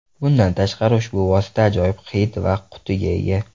Bundan tashqari, ushbu vosita ajoyib hid va qutiga ega.